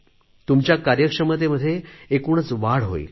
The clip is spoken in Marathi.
तुमच्या कार्यक्षमतेमध्ये एकूणच वाढ होईल